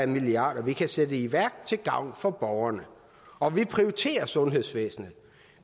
milliarder vi kan sætte i værk til gavn for borgerne og vi prioriterer sundhedsvæsenet